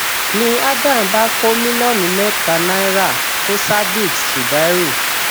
ni adam bá kó mílíọnù mẹta náírà fún sadiq zubairu